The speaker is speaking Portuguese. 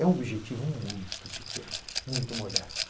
É um objetivo muito pequeno, muito modesto.